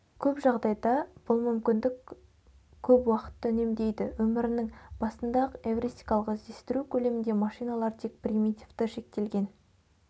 көп жағдайда бұл мүмкіндік көп уақытты үнемдейді өмірінің басындаақ эвристикалық іздестіру көлемінде машиналар тек примитивті шектелген